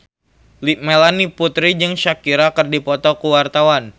Melanie Putri jeung Shakira keur dipoto ku wartawan